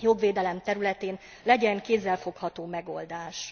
jogvédelem területén legyen kézzelfogható megoldás.